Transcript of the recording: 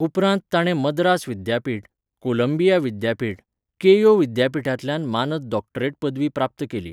उपरांत ताणे मद्रास विद्यापीठ, कोलंबिया विद्यापीठ, केयो विद्यापीठांतल्यान मानद डॉक्टरेट पदवी प्राप्त केली.